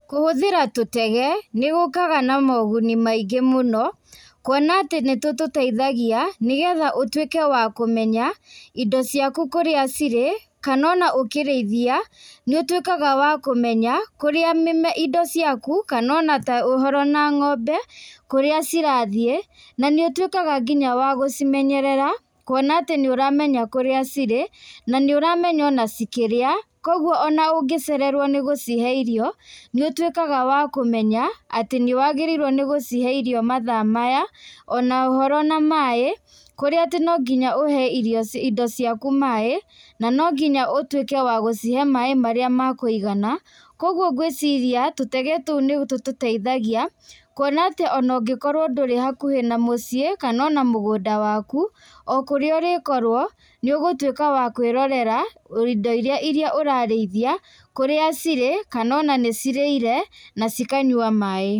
Kũhũthĩra tũtege, nĩ gũkaga na moguni maingĩ mũno. Kuona atĩ nĩ tũtũteithagia nĩgetha ũtuĩke wa kũmenya indo ciaku kũrĩa cirĩ kana ona ũkĩrĩithia, nĩ ũtuĩkaga wa kũmenya kũrĩa mĩme, indo ciaku kana ona ta ũhoro na ng'ombe kũrĩa cirathiĩ. Na nĩ ũtuĩkaga nginya wa gũcimenyerera, kuona atĩ nĩ ũramenya kũrĩa cirĩ, na nĩ ũramenya ona cikĩrĩa. Koguo ona ũngĩcererwo nĩ gũcihe irio, nĩũtuĩkaga wa kũmenya atĩ nĩwagĩrĩirwo nĩ gũchihe irio mathaa maya, ona ũhoro na maĩ, kũria atĩ no nginya ũhe irio, indo ciaku maĩ. Na no nginya ũtuĩke wa gũcihe maĩ marĩa marĩ ma kũigana. Koguo ngwiciria, tũtege tũu nit ututeithagia, kuona atĩ ona ũngĩkorwo ndũrĩ hakuhĩ na mũciĩ kana ona mũgũnda waku. O kũrĩa ũrĩkorwo, nĩ ũgũtuĩka wa kwĩrorera indo iria ũrarĩithia, kũrĩa cirĩ kana ona nĩcirĩire na cikanyua maĩ.